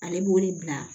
Ale b'o de bila